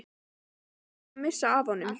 Hann er þó ekki búinn að missa af honum!